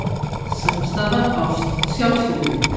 Samstaða, ást og sjálfsvirðing.